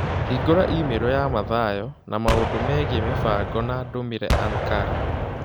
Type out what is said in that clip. Hĩngũra i-mīrū ya Mathayo na maũndũ megiĩ mĩbango na ndũmĩre ankara